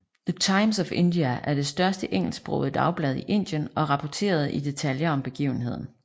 The Times of India er det største engelsksprogede dagblad i Indien og rapporterede i detaljer om begivenheden